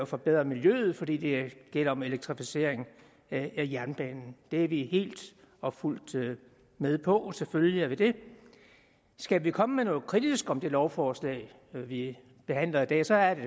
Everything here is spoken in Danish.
forbedre miljøet for det det gælder om elektrificering af jernbanen det er vi helt og fuldt med på selvfølgelig er vi det skal vi komme noget kritisk om det lovforslag vi behandler i dag så er det